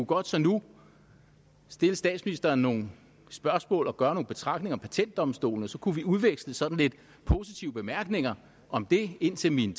godt nu stille statsministeren nogle spørgsmål og gøre nogle betragtninger om patentdomstolen og så kunne vi udveksle sådan lidt positive bemærkninger om det indtil min